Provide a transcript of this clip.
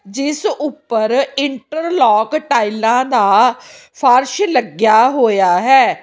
ਜਿਸ ਉੱਪਰ ਇੰਟਰਲੋਕ ਟਾਈਲਾਂ ਦਾ ਫਰਸ਼ ਲੱਗਿਆ ਹੋਇਆ ਹੈ।